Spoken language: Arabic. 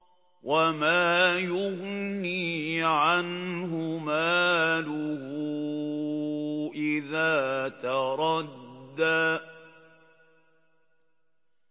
وَمَا يُغْنِي عَنْهُ مَالُهُ إِذَا تَرَدَّىٰ